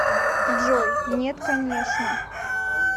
джой нет конечно